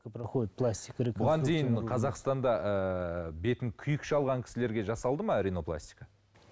бұған дейін қазақстанда ыыы бетін күйік шалған кісілерге жасалды ма ринопластика